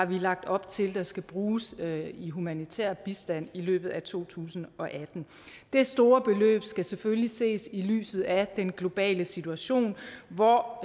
vi har lagt op til skal bruges i humanitær bistand i løbet af to tusind og atten det store beløb skal selvfølgelig ses i lyset af den globale situation hvor